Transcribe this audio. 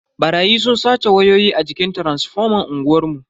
Barayi sun sace wayoyi a jikin taransifoman unguwar mu.